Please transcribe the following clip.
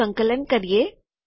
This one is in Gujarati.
તેનુ સંકલન કરીએ